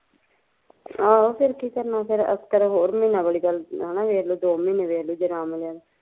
ਆਹੋ ਫਿਰ ਕੀ ਕਰਨਾ ਫਿਰ ਹੋਰ ਮਹੀਨਾ ਦੇਖਲੂ ਦੋ ਮਹੀਨੇ ਵੇਖਲੂ ਜ ਨਾ ਮਿਲਿਆ